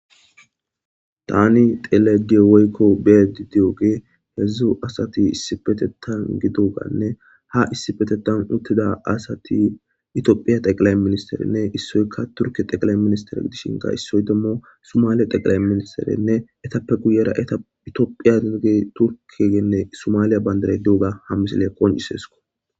Tani xelayida deyewugey woykko beyayida dewuge hedzu asati issipetethani deyiwugane ha issipe tethani utida asati tophiya xeqilayi minister nne isoyika turike minister isoyi sumaliya minister etape guyera toohiya bandirayi deyiwuga ha misileyi qoncisesi.